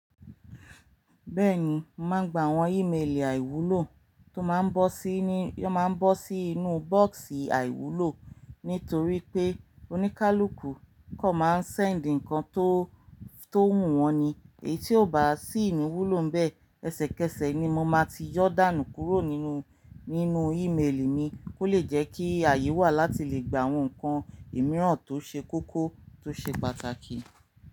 Bẹ́ẹ̀ni, mo mà n gba àwọn ímélì àìwúlò tó máa ń bọ́ sí ní tó máa ń bọ́ sí inú bọ́ọ̀sì àìwúlò nítorí pé oníkálukú kan máa ń sẹ́ǹdì nnkan tó, tó wù wọ́n ni. Èyí tí ò bá sí ni wúlò bẹ́ẹ̀, ẹsẹ̀kẹsẹ̀ ni mo máa ti yọ̀ dánù kúrò nínú, nínú ímélì mi kó le jẹ́ kí ààyè wà láti lè gba àwọn nnkan ìmíràn tó ṣe kókó tó ṣe pàtàkì.